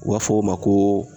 U b'a fɔ o ma koo